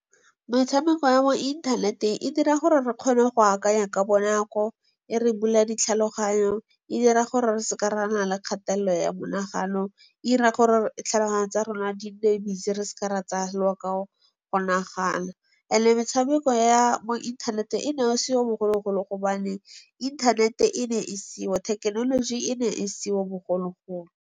Metshameko ya mo inthaneteng e dira gore re kgone go akanya ka bonako, e re bula ditlhaloganyo, e dira gore re se ke ra nna le kgatelelo ya monagano, e 'ira gore tlhaloganya tsa rona di nne busy re se ke ra tsaya lobaka go nagana. Ande metshameko ya mo inthaneteng, e ne e seo bogologolo gobane inthanete e ne e seo, thekenoloji e ne e seo bogologolo.